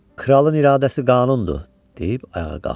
Kralın iradəsi qanundur, deyib ayağa qalxdı.